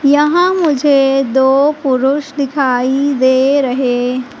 यहां मुझे दो पुरुष दिखाई दे रहे--